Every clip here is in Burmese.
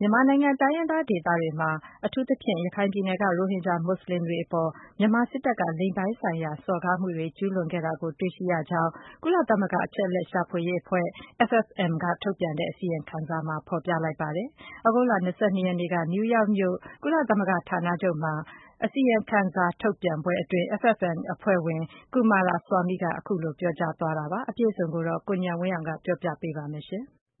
မြန်မာနိုင်ငံ တိုင်းရင်းသားဒေသတွေမှာ အထူးသဖြင့် ရခိုင်ပြည်နယ်က ရိုဟင်ဂျာမွတ်ဆလင်တွေအပေါ် မြန်မာစစ်တပ်က လိင်ပိုင်းဆိုင်ရာ စော်ကားမှုတွေ ကျူးလွန်ခဲ့တာကို တွေ့ရှိရကြောင်း၊ ကုလသမဂ္ဂ အချက်အလက်ရှာဖွေရေးအဖွဲ့ FFM က ထုတ်ပြန်တဲ့ အစီရင်ခံစာမှာ ဖေါ်ပြလိုက်ပါတယ်။ သြဂုတ်လ(၂၂) ရက်နေ့က နယူးယောက်မြို့ ကုလသဂ္ဂဌာနချုပ်မှာ ပြုလုပ်တဲ့ အစီရင်ခံစာထုတ်ပြန်ပွဲမှာ FFM အဖွဲ့ဝင် Coomaraswamy က အဲဒီလို ပြောကြားလိုက်တာပါ။ အပြည့်အစုံကိုတော့ ကိုဉာဏ်ဝင်းအောင်က တင်ပြပါမယ်။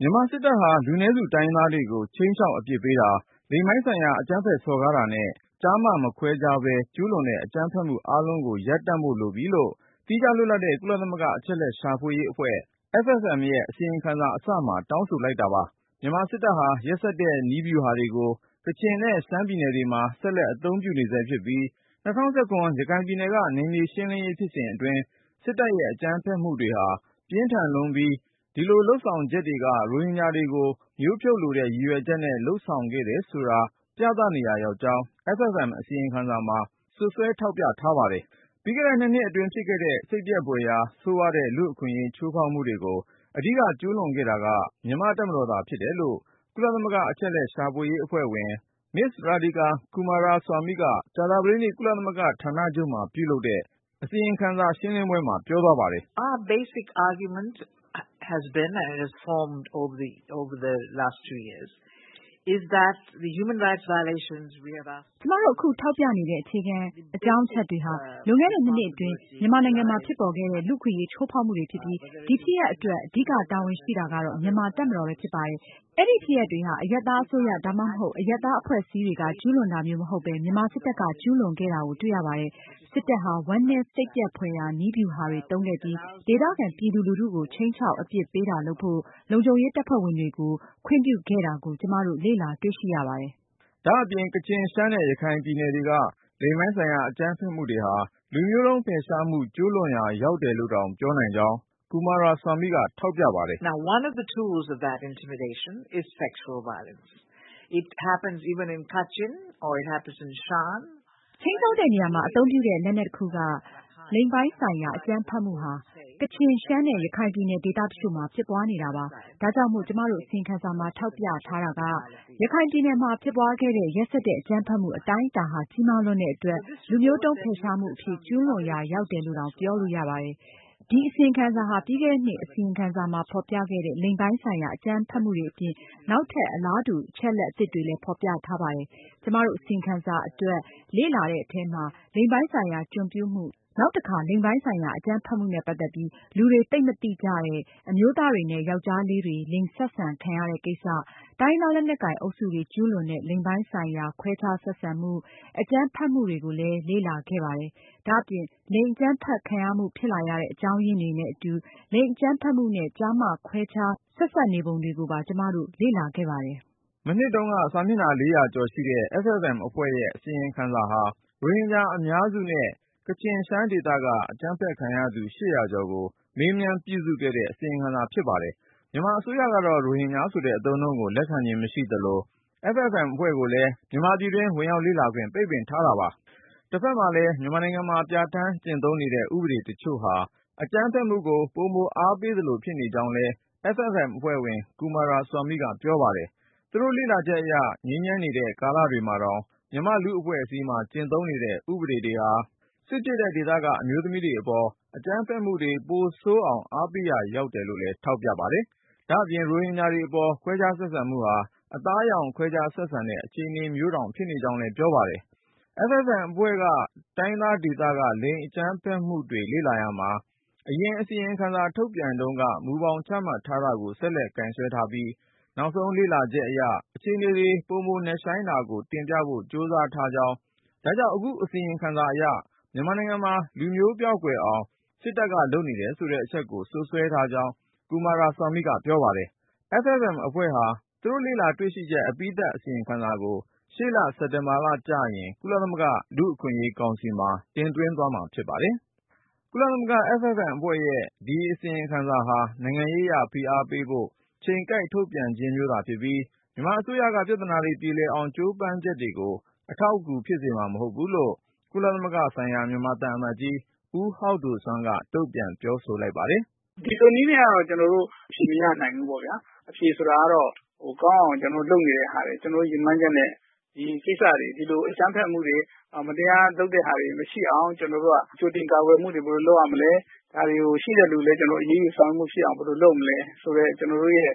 မြန်မာစစ်တပ်ဟာ လူနည်းစု တိုင်းရင်းသားတွေကို ခြိမ်းခြောက် အပြစ်ပေးတာ၊ လိင်ပိုင်းဆိုင်ရာ အကြမ်းဖက်စော်ကားတာနဲ့ ကျားမ မခွဲခြားပဲ ကျူးလွန်တဲ့ အကြမ်းဖက်မှု အားလုံးကို ရပ်တန့်ဖို့လိုပြီလို့ သီးခြားလွတ်လပ်တဲ့ ကုလသမဂ္ဂ အချက်အလက် ရှာဖွေရေးအဖွဲ့ FFM ရဲ့ အစီရင်ခံစာ အစမှာတောင်းဆို လိုက်တာပါ။ မြန်မာစစ်တပ်ဟာ ရက်စက်တဲ့ နည်းဗျူဟာတွေကို ကချင်နဲ့ ရှမ်းပြည်နယ်တွေမှာ ဆက်လက်အသုံးပြုနေဆဲဖြစ်ပြီး၊ ၂၀၁၇ ရခိုင်ပြည်နယ်က နယ်မြေရှင်း လင်းရေး ဖြစ်စဉ်အတွင်း စစ်တပ်ရဲ့ အကြမ်းဖက်မှုတွေဟာ ပြင်းထန်လွန်းပြီး ဒီလိုလုပ်ဆောင်ချက်တွေက ရိုဟင်ဂျာတွေကို မျိုးဖြုတ်လိုတဲ့ ရည်ရွယ်ချက်နဲ့ လုပ်ဆောင်ခဲ့တယ်ဆိုတာ ပြသနေရာရောက်ကြောင်း FFM အစီရင်ခံစာမှာ စွပ်စွဲ ထောက်ပြထားပါတယ်။ ပြီးခဲ့တဲ့ ၂နှစ်အတွင်းဖြစ်ခဲ့တဲ့ စိတ်ပျက်ဖွယ်ရာ ဆိုးဝါးတဲ့ လူ့အခွင့်အရေးချိုးဖောက်မှုတွေကို အဓိကကျူးလွန်ခဲ့တာက မြန်မာ့တပ်မတော်သာ ဖြစ်တယ်လို့ ကုလသမဂ္ဂ အချက်အလက် ရှာဖွေရေးအဖွဲ့ဝင် Ms. Radhika Coomaraswamy က ကြာသပတေးနေ့ ကုလသမဂ္ဂဌာနချုပ်မှာ ပြုလုပ်တဲ့ အစီရင်ခံစာ ရှင်းလင်းပွဲမှာ ပြောပါတယ်။ “ ကျမတို့ အခုထောက်ပြနေတဲ့ အခြေခံ အကြောင်းအချက်တွေဟာ လွန်ခဲ့တဲ့ ၂နှစ်အတွင်း မြန်မာနိုင်ငံမှာဖြစ်ပေါ်ခဲ့တဲ့ လူ့အခွင့်အရေး ချိုးဖေါက်မှုတွေ ဖြစ်ပြီး၊ ဒီဖြစ်ရပ်အတွက် အဓိက တာဝန်ရှိတာကတော့ မြန်မာ့တပ်မတော်ပဲ ဖြစ်ပါတယ်။ အဲဒီဖြစ်ရပ်တွေဟာ အရပ်သားအစိုးရ ဒါမှမဟုတ် အရပ်သား အဖွဲ့အစည်းတွေက ကျူးလွန်တာမျိုးမဟုတ်ပဲ မြန်မာစစ်တပ်က ကျူးလွန်ခဲ့တာကို တွေ့ရပါတယ်။ စစ်တပ်ဟာ ဝမ်းနည်းစိတ်ပျက်ဖွယ်ရာ နည်းဗျူဟာတွေ သုံးခဲ့ပြီး ဒေသခံပြည်သူလူထုကို ခြိမ်းခြောက် အပြစ်ပေးတာလုပ်ဖို့ လုံခြုံရေးတပ်ဖွဲ့ဝင်တွေကို ခွင့်ပြုခဲ့တာကို ကျမတို့လေ့လာတွေ့ရှိရပါတယ်။ ” ဒါ့အပြင် ကချင်၊ ရှမ်းနဲ့ ရခိုင်ပြည်နယ်တွေက လိင်ပိုင်းဆိုင်ရာ အကြမ်းဖက်မှုတွေဟာ လူမျိုးတုံး ဖယ်ရှားမှု ကျူးလွန်ရာ ရောက်တယ်လို့တောင် ပြောနိုင်ကြောင်း Coomaraswamy က ထောက်ပြပါတယ်။ “ ခြိမ်းခြောက်တဲ့နေရာမှာ အသုံးပြုတဲ့ လက်နက်တခုက လိင်ပိုင်းဆိုင်ရာ အကြမ်းဖက်မှုဟာ ကချင်၊ ရှမ်းနဲ့ ရခိုင်ပြည်နယ် ဒေသတချို့မှာ ဖြစ်ပွားနေတာပါ။ ဒါကြောင့်မို့ ကျမတို့ အစီရင်ခံစာမှာ ထောက်ပြ တာက ရခိုင်ပြည်နယ်မှာဖြစ်ပွားခဲ့တဲ့ ရက်စက်တဲ့အကြမ်းဖက်မှု အတိုင်းအတာဟာ ကြီးမားလွန်းတဲ့အတွက် လူမျိုးတုံး ဖယ်ရှားမှုအဖြစ် ကျူးလွန်ရာ ရောက်တယ်လို့တောင် ပြောလို့ရပါတယ်။ ဒီအစီရင်ခံစာဟာ ပြီးခဲ့တဲ့နှစ် အစီရင်ခံစာမှာ ဖေါ်ပြခဲ့တဲ့ လိင်ပိုင်းဆိုင်ရာ အကြမ်းဖက်မှုတွေအပြင် နောက်ထပ် အလားတူ အချက်လက် အသစ်တွေကိုလည်း ဖေါ်ပြထားပါတယ်။ ကျမတို့ အစီရင်ခံစာအတွက် လေ့လာတဲ့အထဲမှာ လိင်ပိုင်းဆိုင်ရာ ကျွန်ပြုမှု၊ နောက်တခါ လိင်ပိုင်းဆိုင်ရာ အကြမ်းဖက်မှုနဲ့ ပတ်သက်ပြီး လူတွေသိပ်မသိကြတဲ့ အမျိုးသားတွေနဲ့ ယောက်ျားလေးတွေ လိင်ဆက်ဆံ ခံရတဲ့ကိစ္စ၊ တိုင်းရင်းသားလက်နက်ကိုင် အုပ်စုတွေ ကျူးလွန်တဲ့ လိင်ပိုင်းဆိုင်ရာ ခွဲခြားဆက်ဆံမှု ၊ အကြမ်းဖက်မှု တွေကိုလည်း လေ့လာခဲ့ပါတယ်။ ဒါ့အပြင် လိင်အကြမ်းဖက်ခံရမှု ဖြစ်လာရတဲ့ အကြောင်းရင်းတွေနဲ့အတူ လိင်အကြမ်းဖက်မှုနဲ့ ကျားမခွဲခြား ဆက်ဆံခံရမှု ဆက်စပ်နေပုံတွေကိုပါ ကျမတို့ လေ့လာခဲ့ပါတယ်။ ” မနှစ်တုန်းက စာမျက်နှာ ၄၀၀ ကျော်ရှိတဲ့ FFM အဖွဲ့ရဲ့ အစီရင်ခံစာဟာ ရိုဟင်ဂျာအများစုနဲ့ ကချင်၊ ရှမ်းဒေသက အကြမ်းဖက်ခံရသူ (၈၀၀)ကျော်ကို မေးမြန်း ပြုစုခဲ့တဲ့ အစီရင်ခံစာဖြစ်ပါတယ်။ မြန်မာအစိုးရကတော့ ရိုဟင်ဂျာဆိုတဲ့ အသုံးအနှုန်းကို လက်ခံခြင်း မရှိသလို၊ FFM အဖွဲ့ကိုလည်း မြန်မာပြည်တွင်း ဝင်ရောက်လေ့လာခွင့် ပိတ်ထားတာပါ။ တဖက်မှာလည်း မြန်မာနိုင်ငံမှာ ပြဌာန်းကျင့်သုံးနေတဲ ဥပဒေတချို့ဟာ အကြမ်းဖက်မှုကို ပိုအားပေးသလို ဖြစ်နေကြောင်းလည်း FFM အဖွဲ့ဝင် Coomaraswamy က ပြောပါတယ်။ သူတို့ လေ့လာချက်အရ ငြိမ်းချမ်းနေတဲ့ ကာလတွေမှာတောင် မြန်မာ့လူမှုအဖွဲ့အစည်းမှာ ကျင့်သုံးနေတဲ့ ဥပဒေတွေဟာ စစ်ဖြစ်တဲ့ ဒေသတွေက အမျိုးသမီးတွေအပေါ် အကြမ်းဖက်မှုတွေ ပိုဆိုးအောင် အားပေးရာရောက်တယ်လို့လည်း ထောက်ပြပါတယ်။ ဒါ့အပြင် ရိုဟင်ဂျာတွေအပေါ် ခွဲခြားဆက်ဆံမှုဟာ အသားအရောင် ခွဲခြားဆက်ဆံတဲ့ အခြေအနေမျိုးတောင် ဖြစ်နေကြောင်းလည်း ပြောပါတယ်။ FFM အဖွဲ့က တိုင်းရင်းသားဒေသက လိင်အကြမ်းဖက်မှုတွေ လေ့လာရာမှာ အရင် အစီရင်ခံစာထုတ်ပြန်တုန်းက မူဘောင်ချမှတ်ထားတာကို ဆက်လက် ကိုင်စွဲထားပြီး၊ နောက်ဆုံး လေ့လာချက်အရ အခြေနေတွေ ပိုမိုနက်ရှိုင်းတာကို တင်ပြဖို့ကြိုးစားထားကြောင်း ဒါကြောင့် အခုအစီရင်ခံစာအရ မြန်မာနိုင်ငံမှာ လူမျိုးပျောက်ကွယ်အောင် စစ်တပ်က လုပ်နေတယ်ဆိုတဲ့ အချက်ကို စွပ်စွဲထားကြောင်း Coomaraswamy က ပြောပါတယ်။ FFM အဖွဲ့ဟာ သူတို့ရဲ့လေ့လာ တွေ့ရှိချက် အပြီးသတ်အစီရင်ခံစာကို ရှေ့လ စက်တင်ဘာကျရင် ကုလလူ့အခွင့်အရေးကောင်စီမှာ တင်သွင်းမှာဖြစ်ပါတယ်။ ကုလသမဂ္ဂ FFM အဖွဲ့ရဲ့ အစီရင်ခံစာဟာ နိုင်ငံရေးအရ ဖိအားပေးဖို့ ချိန်ကိုက်ထုတ်ပြန် ခြင်းမျိုးသာဖြစ်ပြီး၊ မြန်မာအစိုးရက ပြဿနာတွေပြေလည်အောင် ကြိုးပမ်းလုပ်ဆောက်ချက်တွေကို အထောက်အကူ ဖြစ်စေမှာ မဟုတ်ဘူးလို့ ကုလသမဂ္ဂဆိုင်ရာ မြန်မာသံအမတ်ကြီး ဦးဟောက်ဒိုစွမ်းက တုံ့ပြန် ပြောဆို လိုက်ပါတယ်။ “ဒီလိုနည်းနဲ့က ကျနော်တို့ အဖြေမရနိုင်ဘူးပေါ့ဗျာ။ အဖြေဆိုတာကတော့ ကောင်းအောင် ကျနော်တို့ လုပ်နေတာတွေ ကျနော်တို့ ရည်မှန်းချက်နဲ့ ဒီလိုကိစ္စတွေ အကြမ်းဖက်မှုတွေ မတရားလုပ်နေတာတွေ မရှိအောင် ကြိုတင်ကာကွယ်မှုတွေ ဘယ်လိုလုပ်ရမလဲ ။ ရှိတဲ့လူတွေကို လည်း အရေးယူဆောင်ရွက်မှုရှိအောင် ဘယ်လိုလုပ်မလဲဆိုတဲ့ ကျနော်တို့ရဲ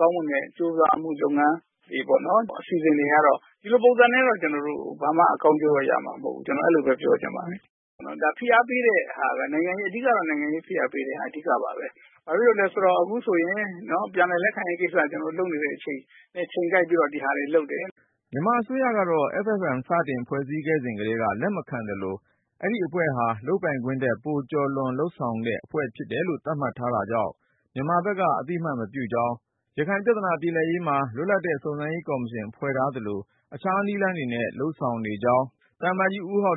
ကောင်းမွန်တဲ့ ကြိုးစားမှုလုပ်ငန်း တွေအစီအစဉ်တွေကတော့ ဒီလိုပုံစံနဲ့တော့ ကျနော်တို့ ဘာမှ ကောင်းကျိုးတော့ရမှာမဟုတ်ဘူးလို့ ပြောချင်ပါတယ်။ ဖိအားပေးတဲ့ဟာ ကတော့ အဓိကတော့ နိုင်ငံရေးဖိအားပေးတာ အဓိကပါပဲ။ ဘာဖြစ်လို့လဲဆိုတော့ အခုဆိုရင် ပြန်လည်လက်ခံရေးကိစ္စ ကျနော်တို့ အခုလုပ်နေတဲ့အချိန်မှာ ချိန်ကိုက်ပြီးတော့ ဒါတွေလုပ်တယ်။” မြန်မာအစိုးရကတော့ FFM စတင်ဖွဲ့စည်း ခဲ့စဉ်ကတည်းက လက်မခံသလို၊ အဲဒီအဖွဲ့ဟာ လုပ်ပိုင်ခွင့်ထက် ပိုပြီး ကျော်လွန်လုပ်ဆောင်တဲ့ အဖွဲ့အဖြစ် သတ်မှတ်ထားတာကြောင့် မြန်မာဘက်က အသိအမှတ်မပြုကြောင်း၊ ရခိုင်ပြဿနာပြေလည်ရေးမှာ လွတ်လပ်တဲ့ ရခိုင်စုံစမ်းရေးကော်မရှင် ဖွဲ့ထားသလို အခြားနည်းလမ်းတွေနဲ့ လုပ်ဆောင်နေကြောင်း သံအမတ်ကြီး ဦးဟောက်ဒို